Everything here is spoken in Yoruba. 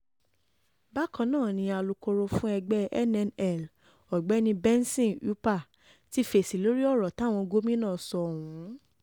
bákan náà ni alūkkoro fún ẹgbẹ́ nnl ogbeni benson upah ti fèsì lórí ọ̀rọ̀ táwọn gómìnà sọ ọ̀hún